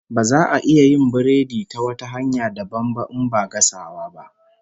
Baza a iya yin biredi ta wata hanya dabam ba in ba gasawa ba